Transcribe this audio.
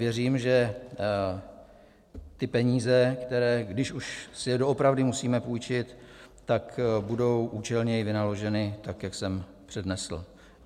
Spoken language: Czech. Věřím, že ty peníze, které, když už si je doopravdy musíme půjčit, tak budou účelněji vynaloženy, tak jak jsem přednesl.